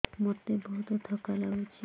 ମୋତେ ବହୁତ୍ ଥକା ଲାଗୁଛି